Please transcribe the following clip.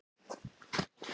Býsna hart það bítur kinn.